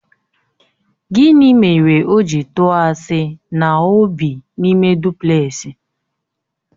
Gịnị mere o ji tụọ asị na ọ bị n'ime duplẹsị?